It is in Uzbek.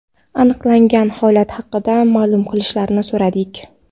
Aniqlangan holat haqida ma’lum qilishlarini so‘radik.